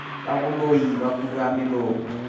ka boloi ba kura melomo